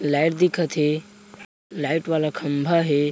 Light दिखत हे light वाला खम्बा हे।